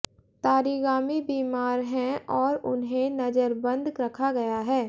तारीगामी बीमार हैं और उन्हें नज़रबंद रखा गया है